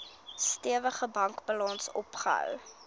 stewige bankbalans opgebou